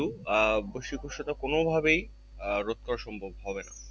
আহ বৈশ্বিক উষ্ণতা কোনোভাবেই আহ রোধ করা সম্ভব হবে না।